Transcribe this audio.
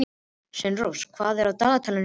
Sveinrós, hvað er á dagatalinu í dag?